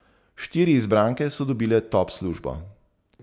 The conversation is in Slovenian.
Štiri izbranke so dobile top službo.